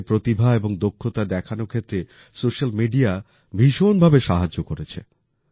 নিজের প্রতিভা এবং দক্ষতা দেখানোর ক্ষেত্রে সোশ্যাল মিডিয়া ভীষণভাবে সাহায্য করেছে